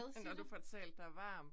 Når du får talt dig varm